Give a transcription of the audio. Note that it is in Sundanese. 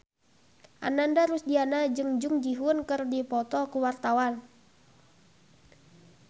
Ananda Rusdiana jeung Jung Ji Hoon keur dipoto ku wartawan